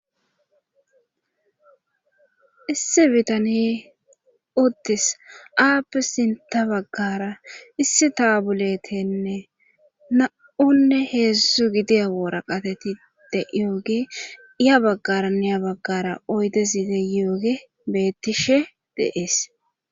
issi bitaniye oodes aappi sinta baggara issi taabuletenne na7onne heedzszu gidiya woora qatetide yooge iya baggaranneya baggara oydezide yooge bettishe deees